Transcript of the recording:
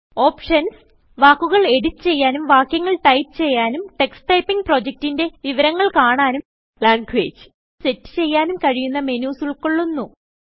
options - വാക്കുകൾ edit ചെയ്യാനും വാക്യങ്ങൾ ടൈപ്പ് ചെയ്യാനും ടക്സ് ടൈപ്പിംഗ് പ്രൊജക്റ്റിന്റെ വിവരങ്ങൾ കാണാനും languageസെറ്റ് ചെയ്യാനും കഴിയുന്ന മെനുസ് ഉൾകൊള്ളുന്നു